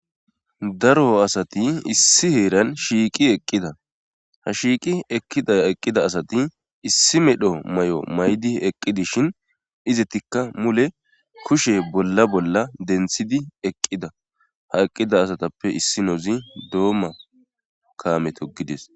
daro asati issi heeran shiiqi eqqida ha shiiqi eqqida asati issi medho may'o may'di eqqi dishin izetikka mule kushe bolla bolla denthidi eqqida ha eqqida asatappe issinozi doomma kaame toogides